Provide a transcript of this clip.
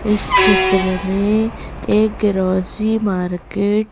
इस चित्र में एक ग्रोसरी मार्केट --